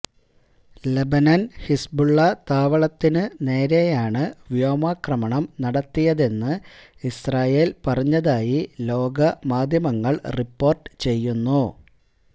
ലബനന് Hezbollah താവളത്തിന് നേരെയാണ് വ്യോമാക്രമണം നടത്തിയതതെന്ന് ഇസ്രയേല് പറഞ്ഞതായി ലോക മാധ്യമങ്ങള് റിപ്പോര്ട്ട് ചെയ്യുന്നു